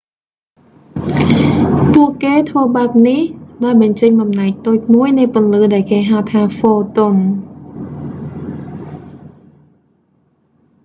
ពួកគេធ្វើបែបនេះ ដោយបញ្ចេញបំណែកតូចមួយនៃពន្លឺដែលគេហៅថា ហ្វូតុន